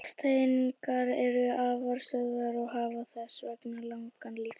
Gastegundirnar eru afar stöðugar og hafa þess vegna langan líftíma.